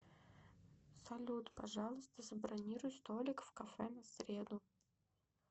салют пожалуйста забронируй столик в кафе на среду